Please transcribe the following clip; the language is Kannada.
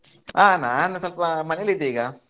ಆ ನಾನು ಸ್ವಲ್ಪ ಮನೆಯಲ್ಲಿ ಇದ್ದೆ ಈಗ.